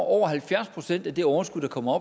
over halvfjerds procent af det overskud der kommer